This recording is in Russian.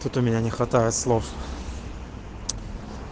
тут у меня не хватает слов